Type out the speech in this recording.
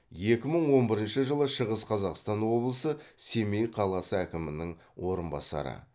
екі мың он бірінші жылы шығыс қазақстан облысы семей қаласы әкімінің орынбасары